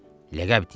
Ləqəb deyək.